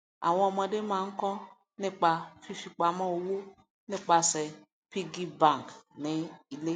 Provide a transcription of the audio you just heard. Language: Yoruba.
àwọn ọmọde máa ń kọ nípa fífipamọ owó nípasẹ piggy bank ní ilé